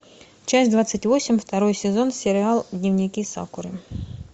часть двадцать восемь второй сезон сериал дневники сакуры